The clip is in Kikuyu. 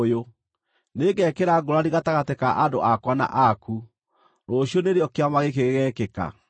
Nĩngekĩra ngũũrani gatagatĩ ka andũ akwa na aku. Rũciũ nĩrĩo kĩama gĩkĩ gĩgekĩka.’ ”